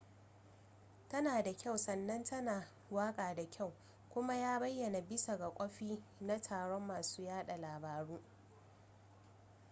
tana da kyau sannan tana waka da kyau kuma ya bayana bisa ga kwafi na taron masu yada labaru